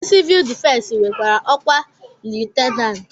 Ndị sivuul difensi nwekwara ọkwa liyutenanti